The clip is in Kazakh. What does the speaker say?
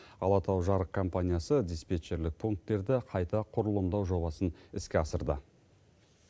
алатау жарық компаниясы диспетчерлік пунктерді қайта құрылымдау жобасын іске асырды